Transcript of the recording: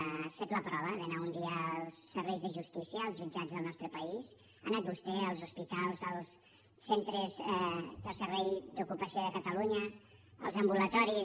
ha fet la prova d’anar un dia als serveis de justícia als jutjats del nostre país ha anat vostè als hospitals als centres del servei d’ocupació de catalunya als ambulatoris